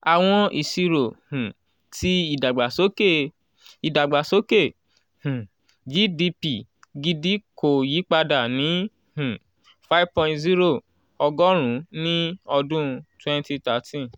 awọn iṣiro um ti idagbasoke idagbasoke um gdp gidi ko yipada ni um five point zero ogorun ni ọdun twenty thirteen.